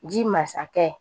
Ji masakɛ